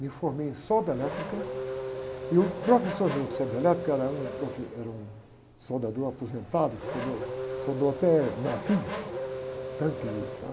Me formei em solda elétrica e o professor meu de solda elétrica era um profe, era um soldador aposentado que fundou, soldou até navio, tanques e tal.